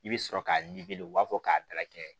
I bɛ sɔrɔ k'a u b'a fɔ k'a dala kɛɲɛ